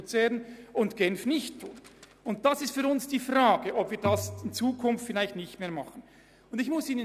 Darum geht es, nämlich ob wir dies in Zukunft vielleicht nicht mehr tun wollen.